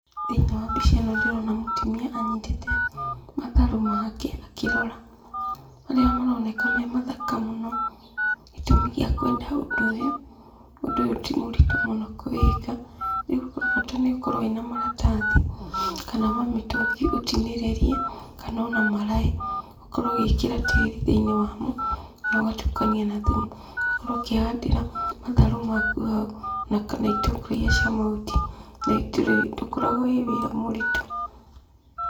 Thĩiniĩ wa mbica ĩno ndĩrona mutumia anyitĩte matharũ make akĩrora. Marĩa maroneka me mathaka mũno. Gĩtumi gĩa kwenda ũndũ ũyũ, ũndũ ũyũ ti mũritũ mũno kũwĩka. Rĩũ bata nĩ ũkorwo wĩ na maratathi, kana mamĩtũngi ũtinĩrĩrie kana ona maraĩ. Ũkorũo ũgĩkĩra tĩĩri thĩiniĩ wamo na ũgatukania na thumu, ũgakorwo ũkĩhandĩra matharũ maku hau, na kana itũngũrũ irĩa cia mahuti. Na itirĩ, ndũkoragwo wĩ wĩra mũritũ.